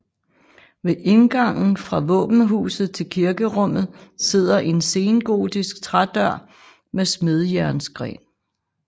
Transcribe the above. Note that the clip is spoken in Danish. Ved indgangen fra våbenhuset til kirkerummet sidder en sengotisk trædør med smedejernsgreb